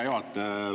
Hea juhataja!